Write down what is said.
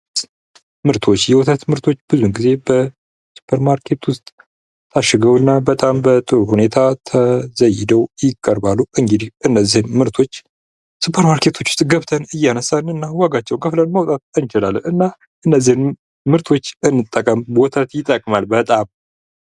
ምርቶች ፦ የወተት ምርቶች ብዙ ጊዜ በሱፐርማርኬቶች ውስጥ ታሽገው እና በጥሩ ሁኔታ ተዘይደው ይቀርባሉ ። እንግዲህ እነዚህን ምርቶች ሱፐርማርኬቶች ውስጥ ገብተን እያነሳን እና ዋጋቸውን ከፍለን መውጣት እንችላለን ። እና እነዚህን ምርቶች እንጠቀም ወተት ይጠቅማል በጣም ።